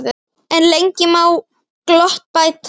En lengi má gott bæta.